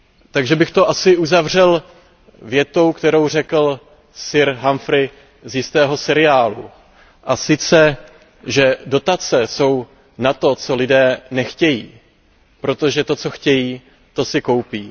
Takže bych to asi uzavřel větou, kterou řekl sir Humphrey z jistého seriálu, a sice, že Dotace jsou na to, co lidé nechtějí, protože to, co chtějí, to si koupí.